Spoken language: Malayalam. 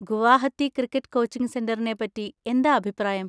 ഗുവാഹത്തി ക്രിക്കറ്റ് കോച്ചിങ് സെന്‍ററിനെ പറ്റി എന്താ അഭിപ്രായം?